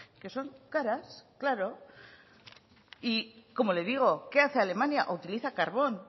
que son caras claro como le digo qué hace alemania utiliza carbón